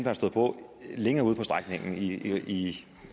er stået på længere ude på strækningen i